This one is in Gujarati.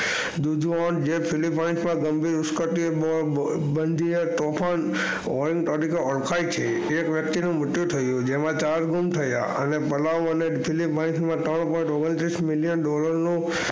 તીયોન તોપણ તરીકે ઓળખાય છે એક વય્ક્તિ નું મૃત્યુ થયું જેમાં ચાર ઘુમ થયા અને વળા વાળે ત્રણ પોઇન્ટ ઓગણત્રીસ dollar,